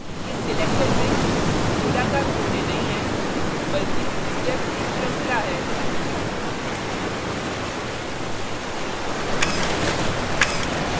इस selection में गोलाकार कोने नहीं है बल्कि steps की श्रृंखला है